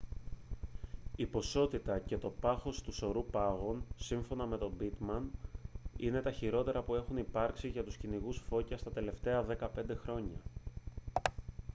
η ποσότητα και το πάχος του σωρού πάγων σύμφωνα με τον pittman είναι τα χειρότερα που έχουν υπάρξει για τους κυνηγούς φώκιας τα τελευταία 15 χρόνια